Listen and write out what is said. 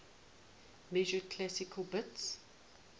measured classical bits